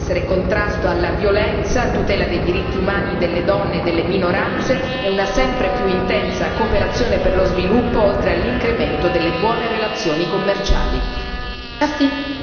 Le nostre priorità devono essere contrasto alla violenza, tutela dei diritti umani delle donne e delle minoranze e una sempre più intensa cooperazione per lo sviluppo, oltre all'incremento delle buone relazioni commerciali.